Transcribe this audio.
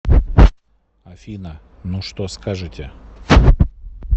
афина ну что скажете